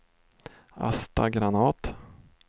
Asta Granath